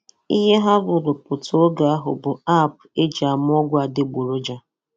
"Ihe ha rụrụpụtā oge ahụ bụ 'app' e ji ama ọgwụ adịgboroja.